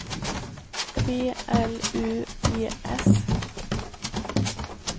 B L U E S